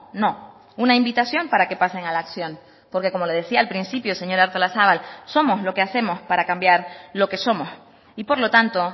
no una invitación para que pasen a la acción porque como le decía al principio señora artolazabal somos lo que hacemos para cambiar lo que somos y por lo tanto